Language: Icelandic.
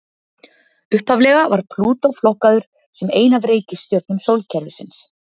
upphaflega var plútó flokkaður sem ein af reikistjörnum sólkerfisins